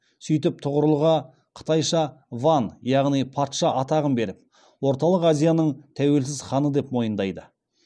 сөйтіп тұғырылға қытайша ван яғни патша атағын беріп орталық азияның тәуелсіз ханы деп мойындайды